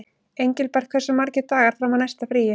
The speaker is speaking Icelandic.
Engilbert, hversu margir dagar fram að næsta fríi?